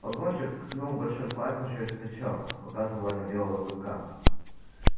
погонщик ткнул большим пальцем через плечо показывая на белого клыка